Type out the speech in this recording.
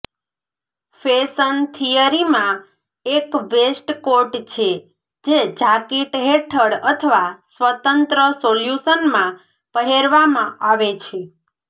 fashion થિયરીમાં એક waistcoat છે જે જાકીટ હેઠળ અથવા સ્વતંત્ર સોલ્યુશનમાં પહેરવામાં આવે છે